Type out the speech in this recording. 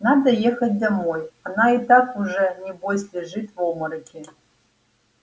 надо ехать домой она и так уже небось лежит в обмороке